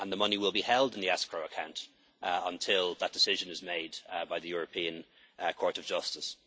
And the money will be held in the escrow account until that decision is made by the European Court of Justice.